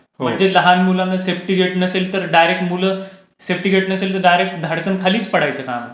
म्हणजे लहान मुलांना सेफ्टी गेट नसेल तर डायरेक्ट मुलं सेफ्टी गेट नसेल तर डायरेक्ट मुलं धाडकन खालीच पडायच.